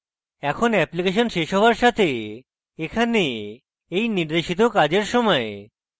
এখন অ্যাপ্লিকেশন শেষ হওয়ার সাথে এই নির্দেশিত কাজের সময়